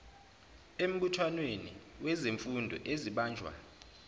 embuthanweni wezifundo ezibanjwa